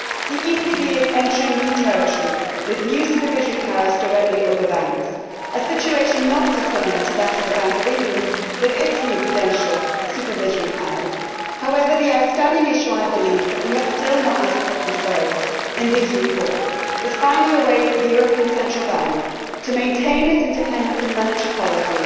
The ECB is entering new territory, with new supervisory powers directly over banks, a situation not dissimilar to the Bank of England with its new prudential supervisory powers. However, the outstanding issue, I believe, that we have still not adequately solved in these reports is finding a way for the European Central Bank to maintain its independence in monetary policy